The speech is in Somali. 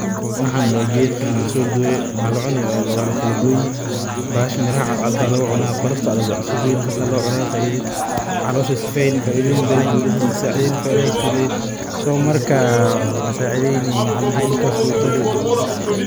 Waxan waa geed lasoo gooye mira cadcad ayaa laga cunaa faida badan ayeey ledahay.